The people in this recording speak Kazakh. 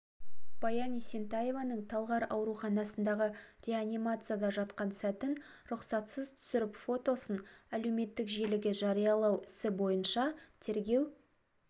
баян есентаеваның талғар ауруханасындағы реанимацияда жатқан сәтін рұқсатсыз түсіріп фотосын әлеуметтік желіге жариялау ісі бойынша тергеу